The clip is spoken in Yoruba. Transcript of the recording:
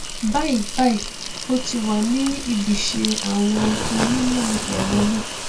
báyìíbáyìí ó ti wà ní ibiṣẹ àwọn onímọ ẹrọ náà